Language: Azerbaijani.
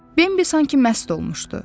Bimbi sanki məst olmuşdu.